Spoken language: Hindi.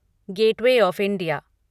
gateway of India